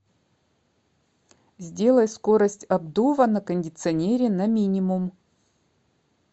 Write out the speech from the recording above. сделай скорость обдува на кондиционере на минимум